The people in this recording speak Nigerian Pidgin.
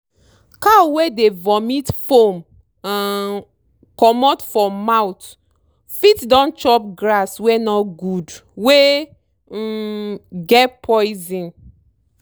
cow wey dey vomit foam um comot for mouth fit don chop grass wey no good wey um get poison.